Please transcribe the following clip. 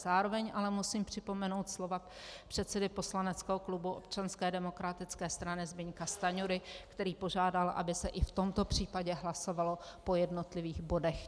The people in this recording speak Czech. Zároveň ale musím připomenout slova předsedy poslaneckého klubu Občanské demokratické strany Zbyňka Stanjury, který požádal, aby se i v tomto případě hlasovalo po jednotlivých bodech.